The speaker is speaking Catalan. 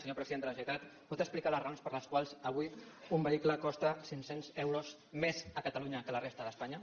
senyor president de la ge·neralitat pot explicar les raons per les quals avui un vehicle costa cinc·cents euros més a catalunya que a la resta d’espanya